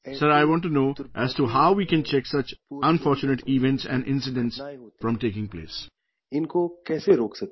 Sir, I want to know how we can check such unfortunate events and incidents from taking place"